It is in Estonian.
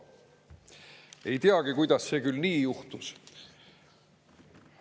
Ei teagi, kuidas see küll nii juhtus.